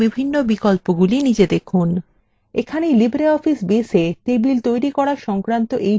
এখানে libreoffice baseএ table তৈরি করা সংক্রান্ত এই tutorial সমাপ্ত হল